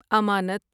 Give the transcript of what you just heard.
امانت